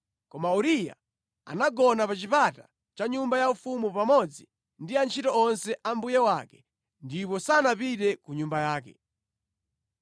Koma Uriya anagona pa chipata cha nyumba yaufumu pamodzi ndi antchito onse a mbuye wake ndipo sanapite ku nyumba yake.